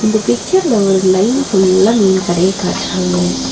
இந்த பிச்சர்ல ஒரு லைன் ஃபுல்லா மீன் கடைய காட்றாங்க.